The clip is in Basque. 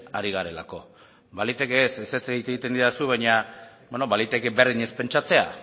ari garela ezetz egiten didazu beno baliteke berdin ez pentsatzea